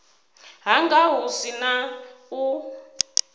hanga hu si na u